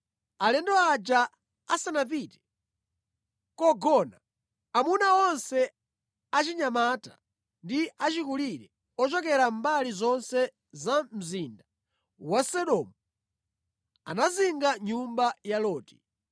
Alendo aja asanapite kogona, amuna onse achinyamata ndi achikulire ochokera mbali zonse za mzinda wa Sodomu anazinga nyumba ya Loti.